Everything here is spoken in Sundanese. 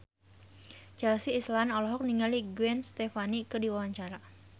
Chelsea Islan olohok ningali Gwen Stefani keur diwawancara